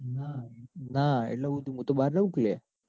ના ના એટલે હું થયું હું તો બાર રઉકે લ્યા.